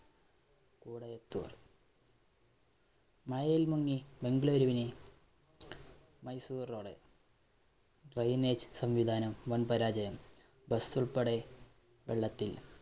മഴയില്‍ മുങ്ങി ബംഗളൂരുവിനെ Mysore‍ road. drainage സംവിധാനം വന്‍ പരാചയം. bus ള്‍പ്പെടെ വെള്ളത്തില്‍.